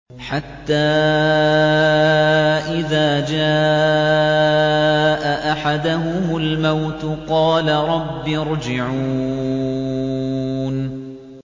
حَتَّىٰ إِذَا جَاءَ أَحَدَهُمُ الْمَوْتُ قَالَ رَبِّ ارْجِعُونِ